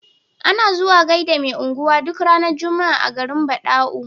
Ana zuwa gaida me unguwa duk ranar juma'a a garin badau